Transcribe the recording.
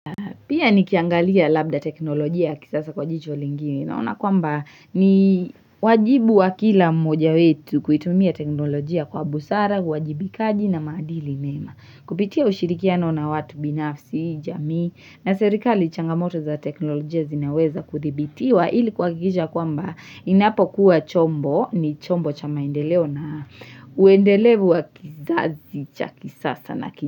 Pia nikiangalia labda teknolojia ya kisasa kwa jicho lingine naona kwamba ni wajibu wa kila mmoja wetu kuitumia teknolojia kwa busara, uwajibikaji na maadili mema. Kupitia ushirikiano na watu binafsi, jamii na serikali changamoto za teknolojia zinaweza kudhibitiwa ili kuhakikisha kwamba inapo kuwa chombo ni chombo cha maendeleo na uendelevu wa kizazi cha kisasa na kini.